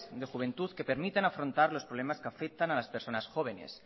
de juventud que permitan afrontar los problemas que afectan a las personas jóvenes